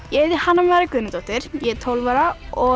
ég heiti Hanna María Guðnadóttir ég er tólf ára og